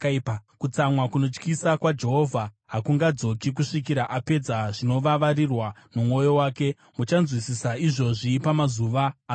Kutsamwa kunotyisa kwaJehovha hakungadzoki, kusvikira apedza zvinovavarirwa nomwoyo wake. Mumazuva anouya muchanzwisisa izvozvi.